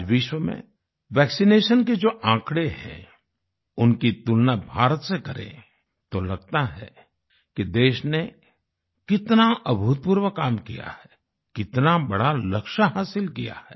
आज विश्व में वैक्सिनेशन के जो आंकड़े हैं उनकी तुलना भारत से करें तो लगता है कि देश ने कितना अभूतपूर्व काम किया है कितना बड़ा लक्ष्य हासिल किया है